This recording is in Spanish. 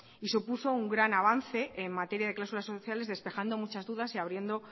y supuso un gran avance en materia de cláusulas sociales despejando muchas dudas y abriendo